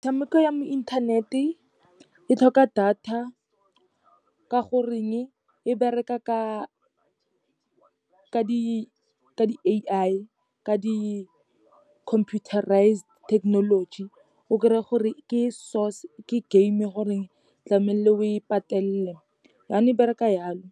Metshameko ya mo inthanete e tlhoka data, ka goreng e bereka ka di-A_I, ka di-computerised technology, o kry-a gore ke source, ke game e goreng tlamehile o e patelele, yanong e bereka yalo.